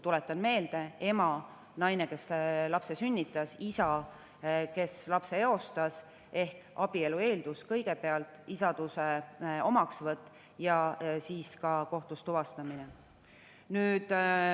Tuletan seda meelde: ema, naine, kes lapse sünnitas, isa, kes lapse eostas, ehk abielu eeldus kõigepealt, isaduse omaksvõtt ja siis ka kohtus tuvastamine.